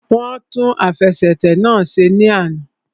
Wọ́n tún àfẹsẹ̀tẹ̀ náà ṣe ní àná